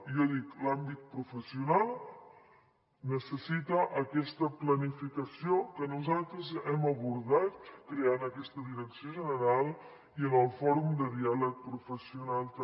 jo dic l’àmbit professional necessita aquesta planificació que nosaltres hem abordat creant aquesta direcció general i en el fòrum de diàleg professional també